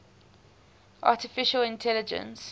artificial intelligence